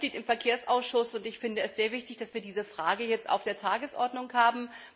Ich bin auch Mitglied im Verkehrsausschuss und finde es sehr wichtig, dass wir diese Frage jetzt auf der Tagesordnung haben.